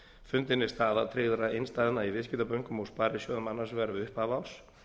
fundin er staða tryggðra innstæðna í viðskiptabönkum og sparisjóðum annars vegar við upphaf árs